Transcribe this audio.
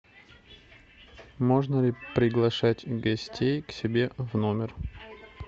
можно ли приглашать гостей к себе в номер